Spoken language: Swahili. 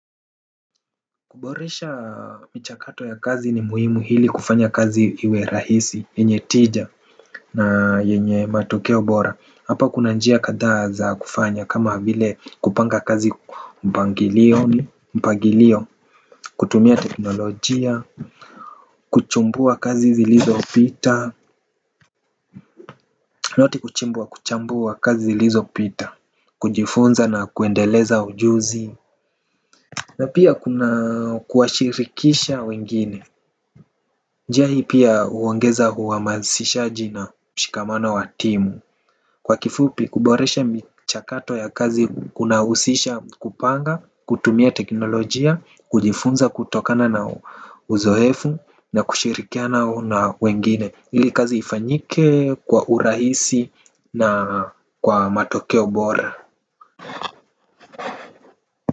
Kuboresha michakato ya kazi ni muhimu ili kufanya kazi iwe rahisi, yenye tija na yenye matokeo bora, hapa kuna njia kadhaa za kufanya kama vile kupanga kazi mpangilio, kutumia teknolojia. Kuchumbua kazi zilizopita, lati kushindwa kuchambua kazi zilizopita, kujifunza na kuendeleza ujuzi. Na pia kuna kuwashirikisha wengine. Njia hii pia huongeza uhamasishaji na mshikamano wa timu. Kwa kifupi kuboresha michakato ya kazi kunahusisha kupanga, kutumia teknolojia, kujifunza kutokana na uzoefu na kushirikiana na wengine. Ili kazi ifanyike kwa urahisi na kwa matokeo bora.